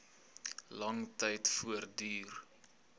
lang tyd voortduur